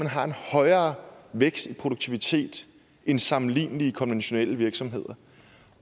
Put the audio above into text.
har en højere vækst i produktivitet end sammenlignelige konventionelle virksomheder